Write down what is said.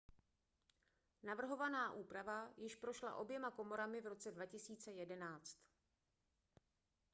navrhovaná úprava již prošla oběma komorami v roce 2011